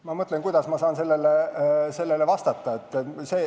Ma mõtlen, kuidas ma saan sellele vastata.